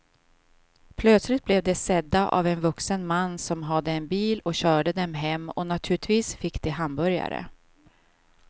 Plötsligt blev de sedda av en vuxen man som hade en bil och körde dem hem och naturligtvis fick de hamburgare.